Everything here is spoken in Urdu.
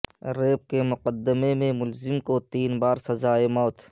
ریپ کے مقدمے میں ملزم کو تین بار سزائے موت